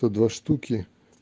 то два штуки